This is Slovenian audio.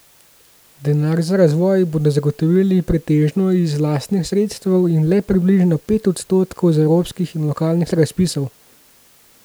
Denar za razvoj bodo zagotovili pretežno iz lastnih sredstev in le približno pet odstotkov z evropskih in lokalnih razpisov.